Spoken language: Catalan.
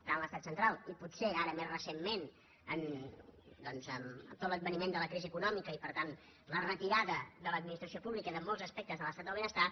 tant l’estat central i potser ara més re·centment amb tot l’adveniment de la crisi econòmica i per tant la retirada de l’administració pública de molts aspectes de l’estat del benestar